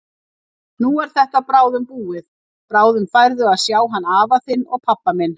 Nú er þetta bráðum búið, bráðum færðu að sjá hann afa þinn og pabba minn.